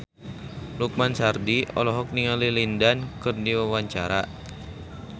Lukman Sardi olohok ningali Lin Dan keur diwawancara